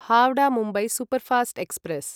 Howrah Mumbai superfast express